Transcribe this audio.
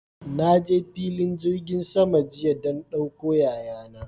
Na je filin jirgin sama jiya don ɗauko yaya na.